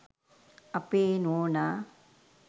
අපේ නෝනා